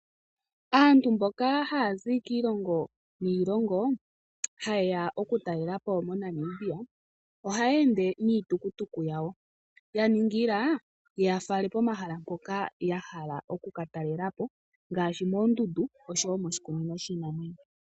Aantu mboka ha ya zi kiilongo niilongo, ha ye ya okutalelapo moNamibia, oha ya ende niitukutuku yawo, ya ningila yi ya fale pomahala mpoka ya hala oku katalelapo, ngaashi moondundu osho woo moshi kunino shiinamwenyo.